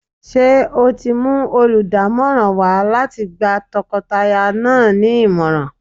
Ṣé o ti mú olùdámọ̀ràn wá láti gba tọkọtaya náà nímọ̀ràn?